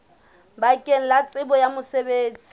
bakeng la tsebo ya mosebetsi